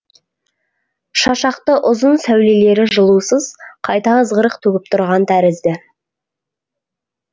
шашақты ұзын сәулелері жылусыз қайта ызғырық төгіп тұрған тәрізді